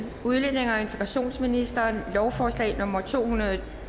udlændinge og integrationsministeren lovforslag nummer l to hundrede